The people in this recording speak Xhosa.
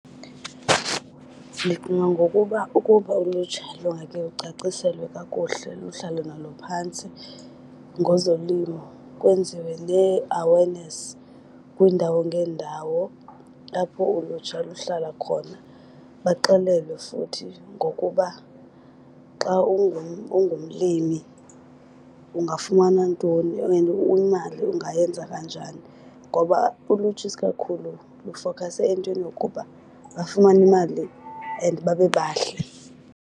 Ndicinga ngokuba ukuba ulutsha lungakhe lucaciselwe kakuhle luhlalwe nalo phantsi ngezolimo, kwenziwe nee-awareness kwiindawo ngeendawo apho ulutsha luhlala khona. Baxelelwe futhi ngokuba xa ungumlimi ungafumana ntoni and imali ungayenza kanjani, ngoba ulutsha isikakhulu lufokhase entweni yokuba bafumane imali and babe bahle.